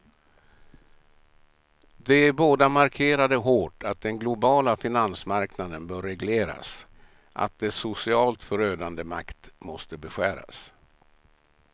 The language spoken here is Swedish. De båda markerade hårt att den globala finansmarknaden bör regleras, att dess socialt förödande makt måste beskäras.